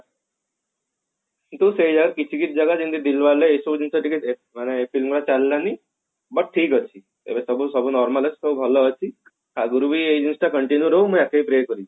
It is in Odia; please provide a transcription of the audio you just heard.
କିନ୍ତୁ ସେ ଆଉ କିଛି କିଛି ଜାଗା ଯେମତିକି dilwale ଏସବୁ ଜିନିଷ ଟିକେ ମାନେ ସିନେମା ଚାଲିଲାନି but ଠିକ ଅଛି ଏବେ ସବୁ ସବୁ normal ଅଛି ସବୁ ଭଲ ଅଛି ଆଗକୁ ବି ଏଇ ଜିନିଷ continue ରହୁ ମୁଁ ଏତିକି pray କରିବି